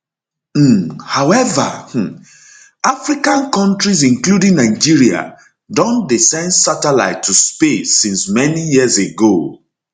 um however um however um african kontris including nigeria don dey send satelites to space since many years ago